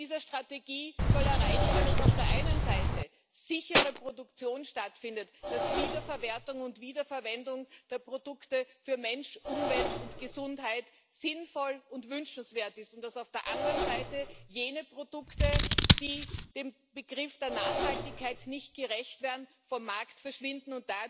Mit dieser Strategie soll erreicht werden, dass auf der einen Seite eine sichere Produktion stattfindet, dass Wiederverwertung und Wiederverwendung der Produkte für Mensch, Umwelt und Gesundheit sinnvoll und wünschenswert sind, und dass auf der anderen Seite jene Produkte, die dem Begriff der Nachhaltigkeit nicht gerecht werden, vom Markt verschwinden.